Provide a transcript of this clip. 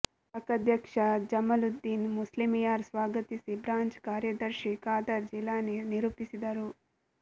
ಶಾಖಾಧ್ಯಕ್ಷ ಜಮಾಲುದ್ದೀನ್ ಮುಸ್ಲಿಯಾರ್ ಸ್ವಾಗತಿಸಿ ಬ್ರಾಂಚ್ ಕಾರ್ಯದರ್ಶಿ ಖಾದರ್ ಜೀಲಾನಿ ನಿರೂಪಿಸಿದರು